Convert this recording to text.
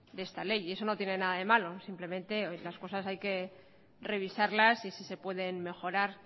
de esta ley y eso no tiene nada de malo simplemente las cosas hay que revisarlas y si se pueden mejorar